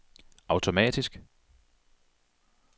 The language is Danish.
automatisk